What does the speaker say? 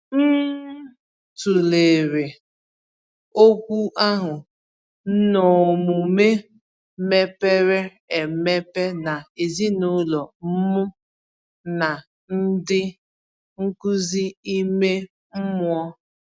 M tụlere okwu ahụ n’ọmume mepere emepe na ezinụlọ m na ndị nkuzi ime mmụọ.